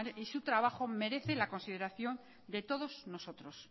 y su trabajo merece la consideración de todos nosotros